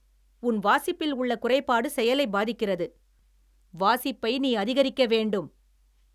உன் வாசிப்பில் உள்ள குறைபாடு செயலை பாதிக்கிறது. வாசிப்பை நீ அதிகரிக்க வேண்டும்.